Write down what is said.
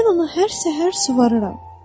Mən onu hər səhər suvarıram.